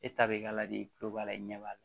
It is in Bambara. E ta bɛ k'a la de kulo b'a la i ɲɛ b'a la